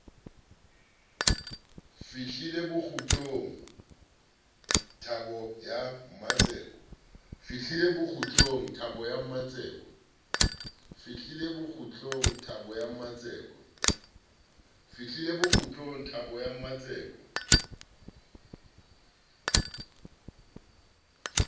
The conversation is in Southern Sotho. fihlile bokgutlong thabo ya mmatseko